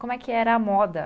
Como é que era a moda?